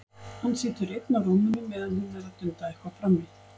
Hann situr einn á rúminu meðan hún er að dunda eitthvað frammi.